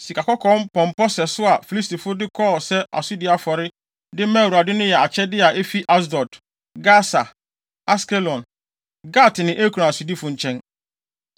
Sikakɔkɔɔ mpɔmpɔ sɛso a Filistifo no de kɔɔ sɛ asodi afɔre, de maa Awurade no yɛ akyɛde a efi Asdod, Gasa, Askelon, Gat ne Ekron asodifo nkyɛn.